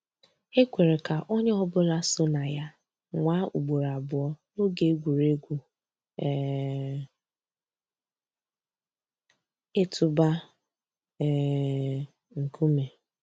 É kwèré kà ónyé ọ̀ bụ́là só nà yà nwáá ùgbòró àbụ́ọ́ n'óge ègwùrégwú um ị̀tụ́bà um nkúmé.